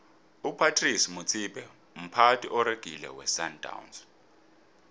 upratice motsipe mphathi oregileko wesandawnsi